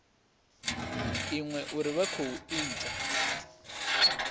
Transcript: iṅwe uri vha khou ita